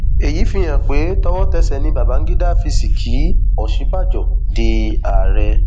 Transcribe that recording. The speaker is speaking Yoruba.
èyí fihàn pé towótẹsẹ ni bangida fi sì kí òsínbàjọ di ààrẹ